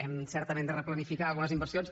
hem certament de replanificar algunes inversions